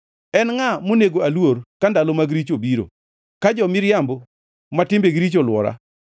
En ngʼa monego aluor ka ndalo mag richo obiro, ka jo-miriambo ma timbegi richo olwora.